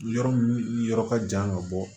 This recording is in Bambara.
Yɔrɔ min yɔrɔ ka jan ka bɔ